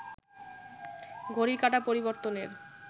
ঘটির কাঁটা পরিবর্তনের